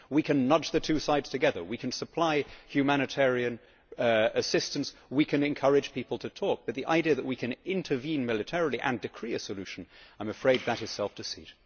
We can nudge the two sides together, we can supply humanitarian assistance, we can encourage people to talk, but the idea that we can intervene militarily and decree a solution, I am afraid that is self deceit.